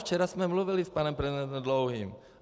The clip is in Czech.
Včera jsem mluvil s panem prezidentem Dlouhým.